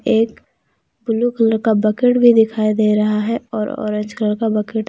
एक blue colour का bucket भी दिखाई दे रहा है और ऑरेंज कलर का बकेट ।